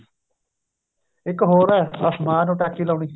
ਇੱਕ ਹੋਰ ਏ ਅਸਮਾਨ ਨੂੰ ਟਾਕੀ ਲਾਉਣੀ